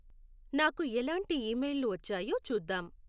నాకు ఎలాంటి ఇమెయిల్లు వచ్చాయో చూద్దాం